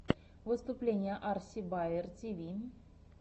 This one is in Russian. выступление арси баер тиви